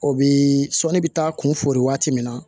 O bi sɔnni bɛ taa kunfori waati min na